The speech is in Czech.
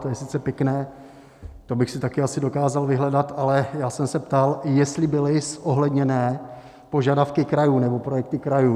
To je sice pěkné, to bych si také asi dokázal vyhledat, ale já jsem se ptal, jestli byly zohledněné požadavky krajů nebo projekty krajů.